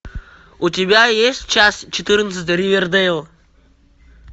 у тебя есть часть четырнадцать ривердейл